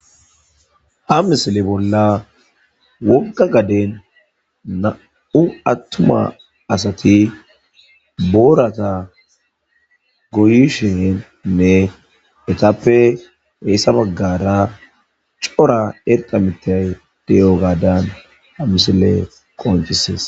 Ha misile bolla wogga gaden nam7u attuma asati boorata goyishennne etappe heessa baggara cora erqa mitay deyo gaadan ha misile qoncisees